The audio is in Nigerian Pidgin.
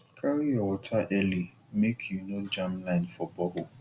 carry your water early make you no jam line for borehole